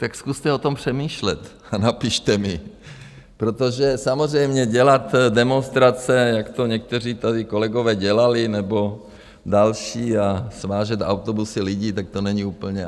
Tak zkuste o tom přemýšlet a napište mi, protože samozřejmě dělat demonstrace, jak to někteří tady kolegové dělali nebo další a svážet autobusy lidi, tak to není úplně...